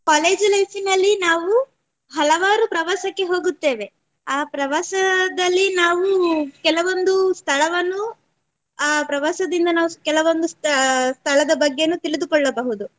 ಇದ್~ college life ನಲ್ಲಿ ನಾವು ಹಲವಾರು ಪ್ರವಾಸಕ್ಕೆ ಹೋಗುತ್ತೇವೆ ಆ ಪ್ರವಾಸದಲ್ಲಿ ನಾವು ಕೆಲವೊಂದು ಸ್ಥಳವನ್ನು ಅ ಪ್ರವಾಸದಿಂದ ನಾವು ಕೆಲವೊಂದು ಸ್ಥ~ ಸ್ಥಳದ ಬಗ್ಗೆನು ತಿಳಿದುಕೊಳ್ಳಬಹುದು.